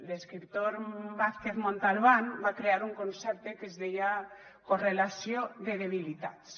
l’escriptor vázquez montalbán va crear un concepte que es deia correlació de debilitats